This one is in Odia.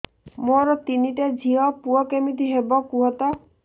ମୋର ତିନିଟା ଝିଅ ପୁଅ କେମିତି ହବ କୁହତ